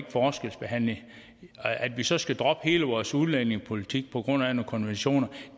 forskelsbehandle at vi så skal droppe hele vores udlændingepolitik på grund af nogle konventioner